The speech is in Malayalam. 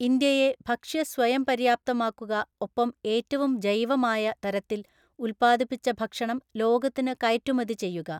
ഇന്ത്യയെ ഭക്ഷ്യ സ്വയം പര്യാപ്തമാക്കുക ഒപ്പം ഏറ്റവും ജൈവമായ തരത്തില്‍ ഉല്‍പ്പാദിപ്പിച്ച ഭക്ഷംണം ലോകത്തിന് കയറ്റുമതി ചെയ്യുക.